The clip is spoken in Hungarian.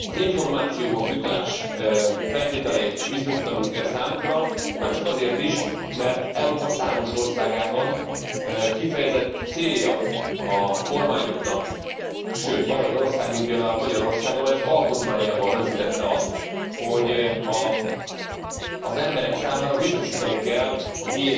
Az információhoz jutás feltételeit biztosítanunk kell számukra, már csak azért is, mert Európa számos országában kifejezett célja a kormányoknak sőt van olyan ország, mint például Magyarország, amely az alkotmányában rögzített azt, hogy az emberek számára biztosítani kell a